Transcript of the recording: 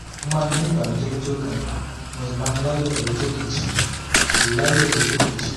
mo máa ń ní ìbànújẹ́ lọ́jọ́ kan mo sì máa ń láyọ̀ lọ́jọ́ kejì láyọ̀ lọ́jọ́ kejì